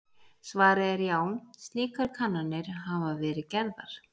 Svarið er já, slíkar kannanir hafa verið gerðar.